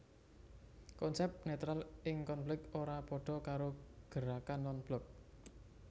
Konsep netral ing konflik ora padha karo gerakan non blok